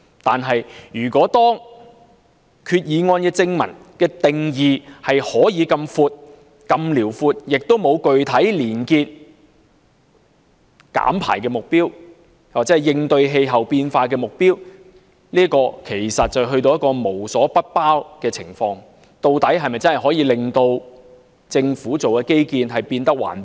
然而，擬議決議案正文的定義如此廣闊，亦沒有具體連結減排或應對氣候變化的目標，其實會出現無所不包的情況，究竟擬議決議案是否真的可以令政府基建變得環保？